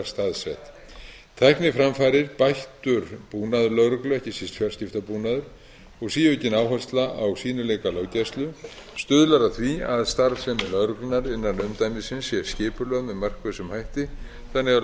staðsett tækniframfarir bættur búnaður lögreglu ekki síst fjarskiptabúnaður og síaukin áhersla á sýnileika löggæslu stuðlar að því að starfsemi lögreglunnar innan umdæmisins sé skipulögð með markvissum hætti þannig að